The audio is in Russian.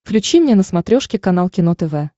включи мне на смотрешке канал кино тв